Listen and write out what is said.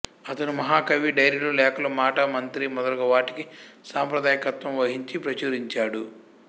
అతను మహాకవి డైరీలు లేఖలు మాటా మంతీ మొదలగు వాటికి సంపాదకత్వం వహించి ప్రచురించాడు